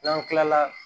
N'an kilala